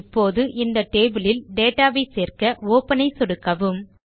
இப்போது இந்த டேபிள் யில் டேட்டா வை சேர்க்க ஒப்பன் ஐ சொடுக்க வும்